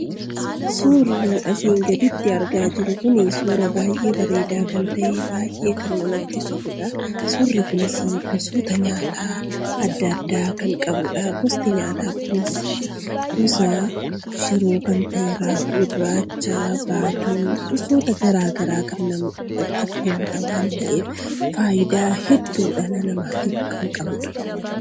Suurri asiin gaditti argaa jirru kun suura baay'ee bareedaa kan ta'e baay'ee kan namatti toludha. Suurri kunis nyaata adda addaa kan qabudha. Nyaati kunis gosa shiroo kan ta'e, raafuu gurraacha, baaduu, gosoota garaagraa kan namatti toluudha waan ta'eef fayidaa hedduu dhala namaatiif kan qabudha.